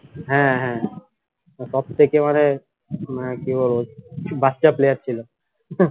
হ্যাঁ হ্যাঁ আর সব থেকে মানে মানে কি বলবো বাচ্চা player ছিলো